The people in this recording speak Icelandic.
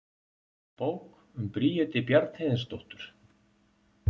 Bók um Bríeti Bjarnhéðinsdóttur.